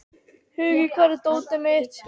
Hugi, hvar er dótið mitt?